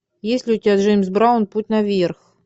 есть ли у тебя джеймс браун путь наверх